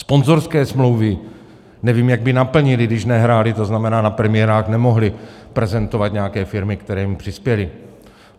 Sponzorské smlouvy nevím, jak by naplnili, když nehráli, to znamená, na premiérách nemohli prezentovat nějaké firmy, které jim přispěly.